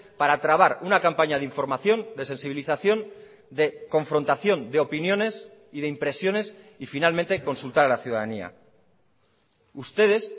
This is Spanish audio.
para trabar una campaña de información de sensibilización de confrontación de opiniones y de impresiones y finalmente consultar a la ciudadanía ustedes